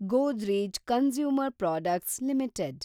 Godrej consumer products limited